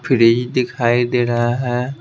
Fridge दिखाई दे रहा है।